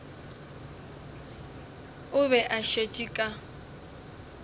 o be a šetše ka